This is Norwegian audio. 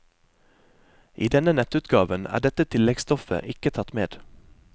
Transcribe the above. I denne nettutgaven er dette tilleggstoffet ikke tatt med.